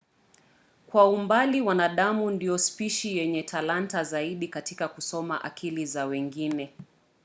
kwa umbali wanadamu ndio spishi yenye talanta zaidi katika kusoma akili za wengine